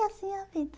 E assim é a vida.